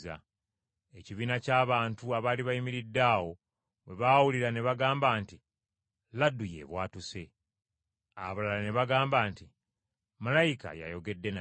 Ekibiina ky’abantu abaali bayimiridde awo bwe baawulira ne bagamba nti, “Laddu y’ebwatuse!” Abalala ne bagamba nti, “Malayika y’ayogedde naye.”